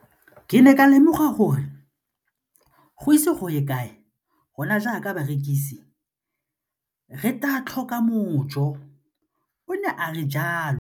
Ke ne ka lemoga gore go ise go ye kae rona jaaka barekise re tla tlhoka mojo, o ne a re jalo.